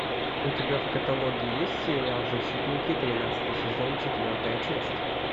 у тебя в каталоге есть сериал защитники тринадцатый сезон четвертая часть